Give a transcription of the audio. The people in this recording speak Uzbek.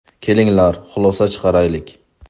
Kelinglar, xulosa chiqaraylik!